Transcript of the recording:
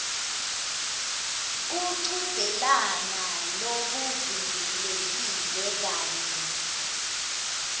kuchudzelana lokuvimbelekile kanye